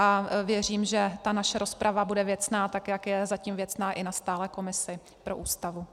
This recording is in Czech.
A věřím, že ta naše rozprava bude věcná, tak jak je zatím věcná i na stálé komisi pro Ústavu.